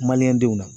denw na